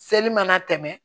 Seli mana tɛmɛ